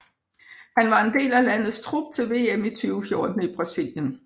Han var en del af landets trup til VM i 2014 i Brasilien